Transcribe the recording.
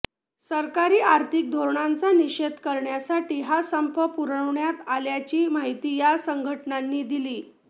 सरकारी आर्थिक धोरणांचा निषेध करण्यासाठी हा संप पुकारण्यात आल्याची माहिती या संघटनांनी दिली